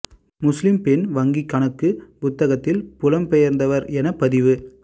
முஸ்லிம் பெண் வங்கிக் கணக்குப் புத்தகத்தில் புலம் பெயர்ந்தவர் எனப் பதிவு